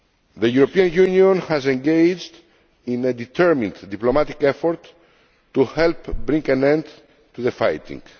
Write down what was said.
The European Union has engaged in a determined diplomatic effort to help bring an end to the fighting.